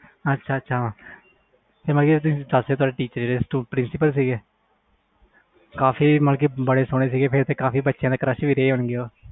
ਅੱਛਾ ਅੱਛਾ ਜਿਹੜੇ pricipal ਸੀ ਉਹ ਕਾਫੀ ਸਹੋਣੇ ਸੀ ਫਿਰ ਤਾ ਕਾਫੀ ਬੱਚਿਆ ਦੇ crash ਹੋਣ ਗੇ